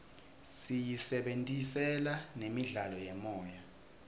siyisebentisela nemidlalo yemoya